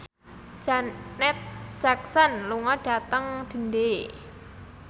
Janet Jackson lunga dhateng Dundee